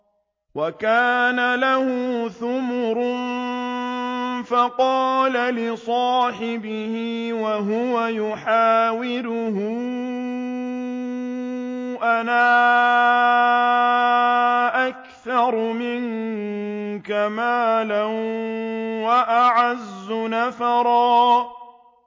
وَكَانَ لَهُ ثَمَرٌ فَقَالَ لِصَاحِبِهِ وَهُوَ يُحَاوِرُهُ أَنَا أَكْثَرُ مِنكَ مَالًا وَأَعَزُّ نَفَرًا